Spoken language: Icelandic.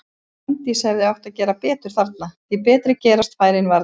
Fanndís hefði átt að gera betur þarna, því betri gerast færin varla.